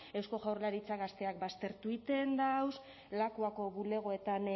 eusko jaurlaritzak gazteak baztertu eiten dauz lakuako bulegoetan